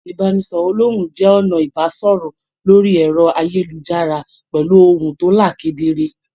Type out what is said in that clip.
Ibanisọrọ olòhùn jẹ ọnà ibasọrọ lórí ẹrọ ayélujára pẹlú ohùn to là kedere.